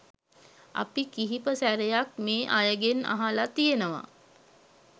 අපි කිහිප සැරයක් මේ අයගෙන් අහලා තියෙනවා